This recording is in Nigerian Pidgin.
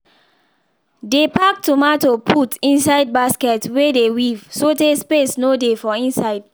dey pack tomato put inside basket wey dey weave so tay space no dey for inside